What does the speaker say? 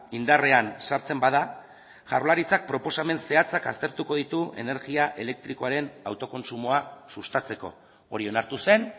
indarrean sartzen bada jaurlaritzak proposamen zehatzak aztertuko ditu energia elektrikoaren autokontsumoa sustatzeko hori onartu zen